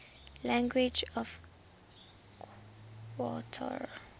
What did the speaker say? languages of qatar